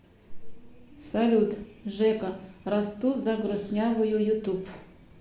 салют жека расту за грустнявую ютуб